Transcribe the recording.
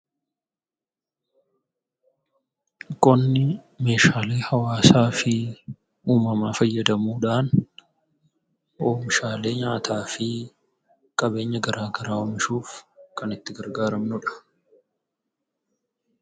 Qonni meeshaalee hawaasaa fi uumamaa fayyadamuudhaan oomishaalee nyaataa fi qabeenya garaagaraa oomishuuf kan itti gargaaramnudha.